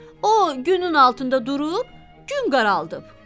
O günün altında durub gün qaraldıb.